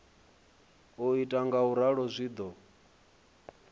u ita ngauralo zwi do